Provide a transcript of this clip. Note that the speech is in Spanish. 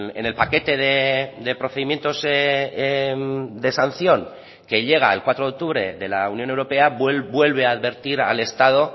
en el paquete de procedimientos de sanción que llega el cuatro de octubre de la unión europea vuelve a advertir al estado